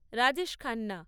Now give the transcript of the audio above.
Rajesh Khanna